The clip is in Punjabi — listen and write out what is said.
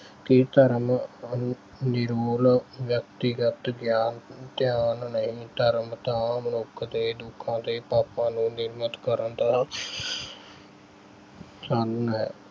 ਕਿ ਧਰਮ ਨਿਰੋਲ ਵਿਅਕਤੀਗਤ ਗਿਆ ਅਹ ਗਿਆਨ ਧਿਆਨ ਨਹੀਂ। ਧਰਮ ਤਾਂ ਮਨੁੱਖ ਦੇ ਦੁੱਖਾਂ ਤੇ ਪਾਪਾਂ ਨੂੰ ਨਿਯਮਤ ਕਰਨ ਦਾ ਸਾਧਨ ਹੈ।